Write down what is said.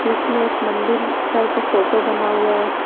बीच में एक मंदिर टाइप का फोटो बना हुआ है।